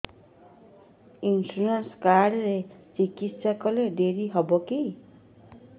insurance card ରେ ଚିକିତ୍ସା କଲେ ଡେରି ହବକି